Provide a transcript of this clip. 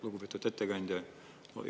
Lugupeetud ettekandja!